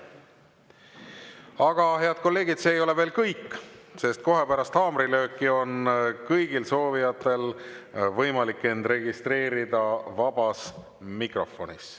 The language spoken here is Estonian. Aga head kolleegid, see ei ole veel kõik, sest kohe pärast haamrilööki on kõigil soovijatel võimalik end registreerida vabas mikrofonis.